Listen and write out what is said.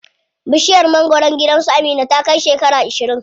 Bishiyar mangwaron gidan su Amina ta kai shekara ashirin.